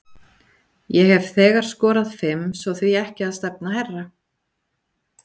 Ég hef þegar skorað fimm svo því ekki að stefna hærra?